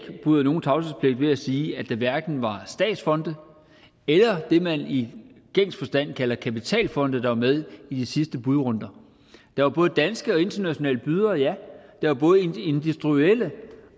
bryder nogen tavshedspligt ved at sige at der hverken var statsfonde eller det man i gængs forstand kalder kapitalfonde med i de sidste budrunder der var både danske og internationale bydere ja der var både industrielle